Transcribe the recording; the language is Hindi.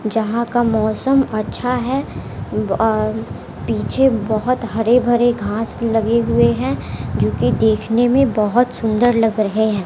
जहां का मौसम अच्छा है अ पीछे बहोत हरे भरे घास लगे हुए हैं जोकि देखने में बहुत सुंदर लग रहे हैं।